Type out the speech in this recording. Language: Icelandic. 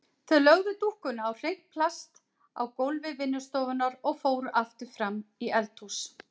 Þau lögðu dúkkuna á hreint plast á gólfi vinnustofunnar og fóru aftur fram í eldhús.